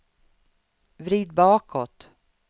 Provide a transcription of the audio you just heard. vrid bakåt